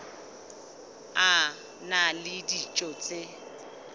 a na le dijo tse